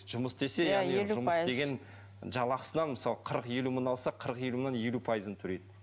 жұмыс істесе жұмыс істеген жалақысынан мысалы қырық елу мың алса қырық елу мыңнан елу пайызын төлейді